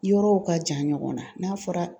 Yɔrɔw ka jan ɲɔgɔn na n'a fɔra